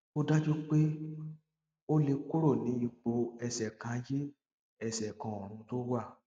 ó dájú pé ó lè kúrò ní ipò ẹsẹ kan ayé ẹsẹ kan ọrun tó wà